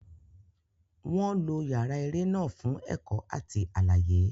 Wọn lo yàrá eré náà fún ẹ̀kọ́ àti àlàyé.